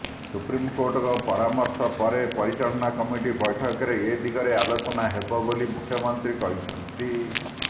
ସୁପ୍ରିମକୋର୍ଟଙ୍କ ପରାମର୍ଶ ପରେ ପରିଚାଳନା କମିଟି ବୈଠକରେ ଏଦିଗରେ ଆଲୋଚନା ହେବ ବୋଲି ମୁଖ୍ୟମନ୍ତ୍ରୀ କହିଛନ୍ତି